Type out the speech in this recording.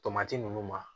Tomati ninnu ma